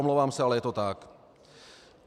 Omlouvám se, ale je to tak.